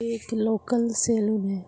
एक local salon है।